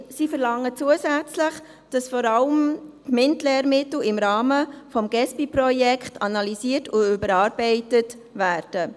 Sie verlangen, dass zusätzlich alle MINT-Lehrmittel im Rahmen des Gesbi-Projekts analysiert und überarbeitet werden.